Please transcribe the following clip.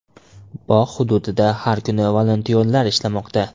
Bog‘ hududida har kuni volontyorlar ishlamoqda.